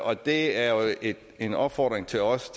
og det er jo en opfordring til os